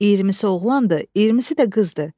İyirmisi oğlandı, iyirmisi də qızdı.